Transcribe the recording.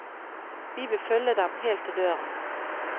Vi vil følge dem helt til døren.